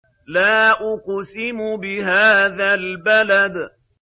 لَا أُقْسِمُ بِهَٰذَا الْبَلَدِ